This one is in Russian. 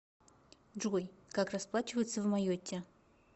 джой как расплачиваться в майотте